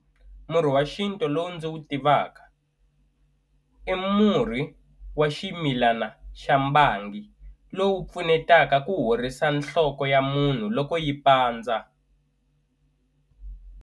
Murhi wa xintu lowu ndzi wu tivaka i murhi wa ximilana xa mbangi lowu pfunetaka ku horisa nhloko ya munhu loko yi pandza.